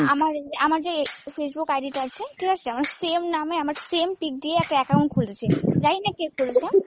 আমার আমার যে Facebook id টা আছে ঠিকাছে আমার same নামে আমার same পিক দিয়ে একটা account খুলেছে, জানিনা কে খুলেছে।